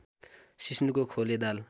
सिस्नुको खोले दाल